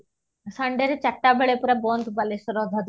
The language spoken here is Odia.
sunday ରେ ଚାରିଟା ବେଳେ ପୁରା ବନ୍ଦ ବାଲେଶ୍ଵର ଅଧା ଦୋକାନ